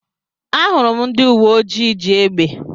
Ahụrụ m ndị uwe ojii ji égbè.